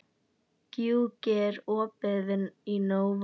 Gjúki, er opið í Nova?